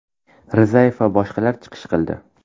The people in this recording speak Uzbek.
Rizayev va boshqalar chiqish qildi.